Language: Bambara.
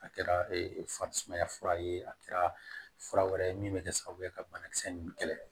A kɛra farisumaya fura ye a kɛra fura wɛrɛ ye min bɛ kɛ sababu ye ka banakisɛ ninnu kɛlɛ